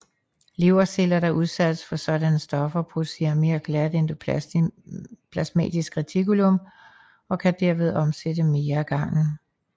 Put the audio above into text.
Leverceller der udsættes for sådanne stoffer producerer mere glat endoplasmatisk reticulum og kan derved omsætte mere af gangen